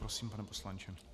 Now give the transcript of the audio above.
Prosím, pane poslanče.